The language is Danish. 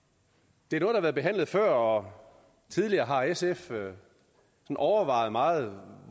det er noget været behandlet før og tidligere har sf overvejet meget